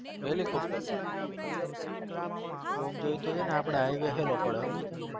helicopter માં અમાજોએ તો highway હેલો પડે